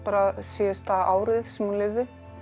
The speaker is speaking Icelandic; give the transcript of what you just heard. síðasta árið sem hún lifði